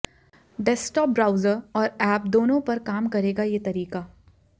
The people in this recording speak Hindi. डेस्कटॉप ब्राउजर और ऐप दोनों पर काम करेगा ये तरीका